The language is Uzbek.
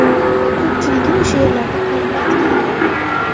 Ko‘pchiligi o‘sha yerlarda qolib ketgan.